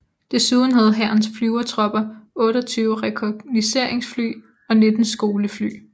Desuden havde Hærens Flyvertropper 28 rekognosceringsfly og 19 skolefly